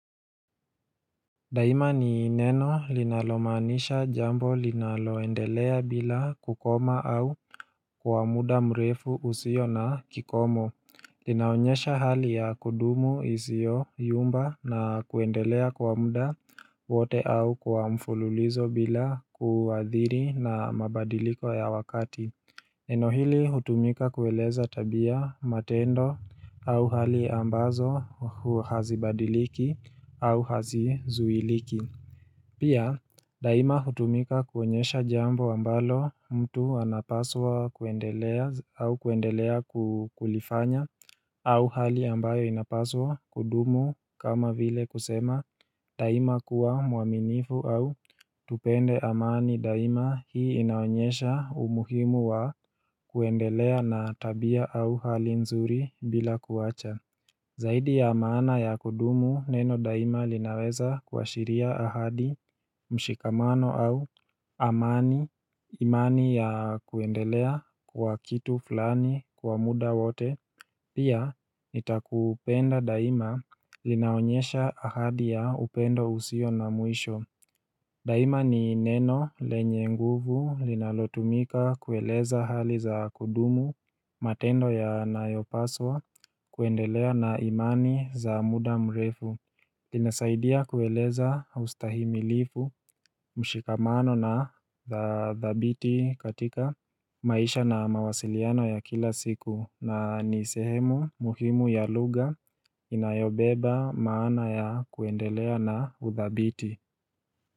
Daima ni neno linalomanisha jambo linaloendelea bila kukoma au kwa muda mrefu usio na kikomo Linaonyesha hali ya kudumu izio yumba na kuendelea kwa muda wote au kwa mfululizo bila kuadhiri na mabadiliko ya wakati nenohili hutumika kueleza tabia matendo au hali ambazo huwa hazibadiliki au hazizuiliki Pia daima hutumika kuonyesha jambo ambalo mtu anapaswa kuendelea au kuendelea kulifanya au hali ambayo inapaswa kudumu kama vile kusema daima kuwa mwaminifu au tupende amani daima hii inaonyesha umuhimu wa kuendelea na tabia au hali nzuri bila kuacha Zaidi ya maana ya kudumu neno daima linaweza kua shiria ahadi mshikamano au amani imani ya kuendelea kwa kitu fulani kwa muda wote Pia, nitakupenda daima linaonyesha ahadi ya upendo usio na mwisho Daima ni neno lenye nguvu linalotumika kueleza hali za kudumu matendo ya nayopaswa kuendelea na imani za muda mrefu linasaidia kueleza ustahimi lifu, mshikamano na thabiti katika maisha na mawasiliano ya kila siku na ni sehemu muhimu ya lugha inayobeba maana ya kuendelea na uthabiti.